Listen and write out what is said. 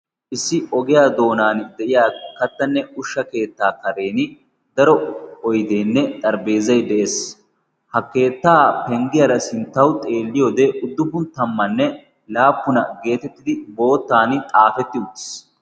issi ogiyaa doonan de'iya kattanne ushsha keettaa karen daro oydeenne xaribeezai de'ees ha keettaa penggiyaara sinttawu xeelliyoode uddubun tammanne laappuna geetettidi boottan xaafetti uddiis